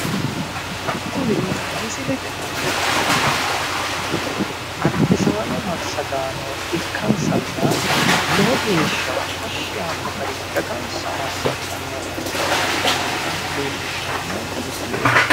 Kuni misilete aana la'neemmo mannooti albisaaano massagaanno ikansanna lowo geeshsha tashshi yaanno gari dagansa massagaano ikkitinnota leellishshanno misileeti.